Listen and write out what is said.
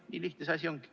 Nii lihtne see asi ongi.